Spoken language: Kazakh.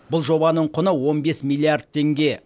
бұл жобаның құны он бес миллиард теңге